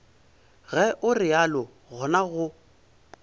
ge o realo gona go